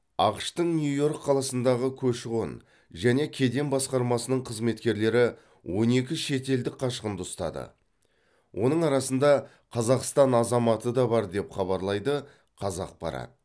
ақш тың нью йорк қаласындағы көші қон және кеден басқармасының қызметкерлері он екі шетелдік қашқынды ұстады оның арасында қазақстан азаматы да бар деп хабарлайды қазақпарат